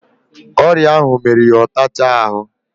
Oria ahu mmeru ya otacha ahu